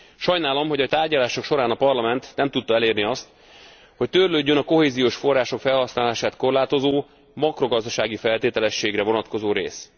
Sajnálom, hogy a tárgyalások során a Parlament nem tudta elérni azt, hogy törlődjön a kohéziós források felhasználását korlátozó makrogazdasági feltételességre vonatkozó rész.